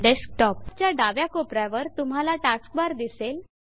desktop च्या डाव्या कोपऱ्यावर तुम्हाला टास्कबार दिसेल